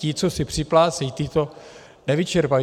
Ti, co si připlácejí, ti to nevyčerpají.